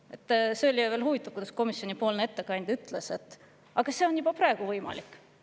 Eriti huvitav oli veel see, kui komisjoni ettekandja ütles: aga see on juba praegu võimalik.